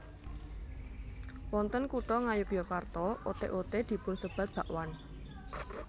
Wonten Kutha Ngayogyakarta oté oté dipun sebat bakwan